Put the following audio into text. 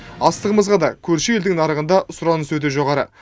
астығымызға да көрші елдің нарығында сұраныс өте жоғары